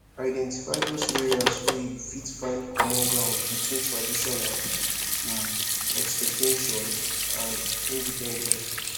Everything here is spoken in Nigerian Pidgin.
identify those areas wey you fit find common ground between traditional um expectation and independence